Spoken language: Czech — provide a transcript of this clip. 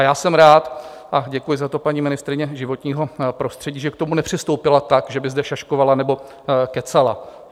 A já jsem rád a děkuji za to paní ministryni životního prostředí, že k tomu nepřistoupila tak, že by zde šaškovala nebo kecala.